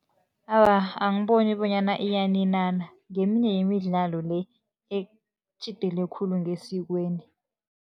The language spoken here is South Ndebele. Awa, angiboni bonyana iyaninana, ngeminye yemidlalo le, etjhidele khulu ngesikweni.